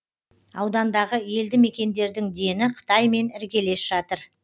аудандағы елді мекендердің дені қытаймен іргелес жатыр